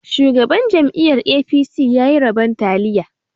Shugaban jam'iyar 'A.P.C' ya yi rabon taliya